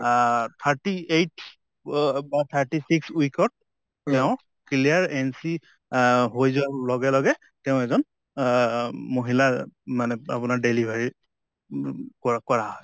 আহ thirty eight thirty six week ত তেওঁ clear no আহ হৈ যোৱাৰ লগে লগে তেওঁ এজন আহ মহিলা মানে আপোনাৰ delivery কৰা কৰা হয়।